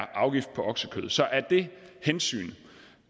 afgift på oksekød så af det hensyn